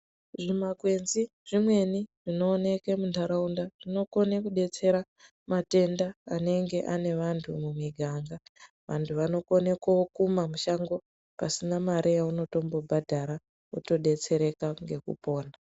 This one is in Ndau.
Zvimakwenzi zvimweni zvinooneke muntaraunda zvinokone kudetsera matenda anenge ane vantu mumiganga vantu vanokone ko kumba mushango pasina pasina mare yaunotombobhadhara wotodetsereka ngekupona .